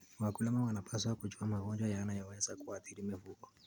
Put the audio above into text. Wakulima wanapaswa kujua magonjwa yanayoweza kuathiri mifugo.